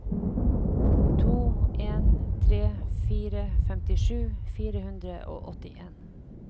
to en tre fire femtisju fire hundre og åttien